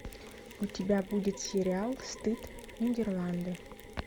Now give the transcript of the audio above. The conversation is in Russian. у тебя будет сериал стыд нидерланды